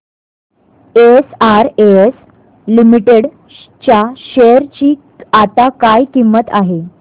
SRS limited च्या share ची आता काय किंमत आहे